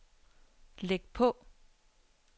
læg på